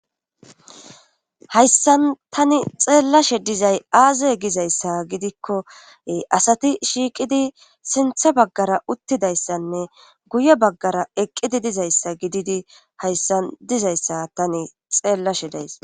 Hayssan tani xeellashe dizay aazey gizayssa gidikkoe asati shiiqidi sintha baggara uttidayssanne guye baggara eqqidi dizayssa gididi hayssan dizayssa tani xeellashe days.